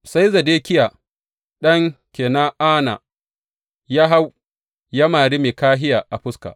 Sai Zedekiya ɗan Kena’ana ya hau ya mari Mikahiya a fuska.